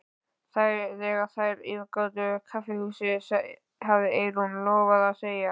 Þegar þær yfirgáfu kaffihúsið hafði Eyrún lofað að segja